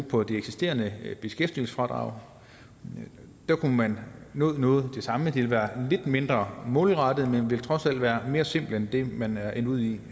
på det eksisterende beskæftigelsesfradrag der kunne man nå noget det samme det ville være lidt mindre målrettet men ville trods alt være mere simpelt end det man er endt ud i